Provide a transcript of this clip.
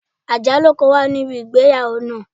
Ajalu kan wa nibi igbeyawo naa